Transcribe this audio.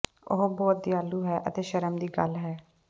ਉਹ ਬਹੁਤ ਦਿਆਲੂ ਹੈ ਅਤੇ ਸ਼ਰਮ ਦੀ ਗੱਲ ਹੈ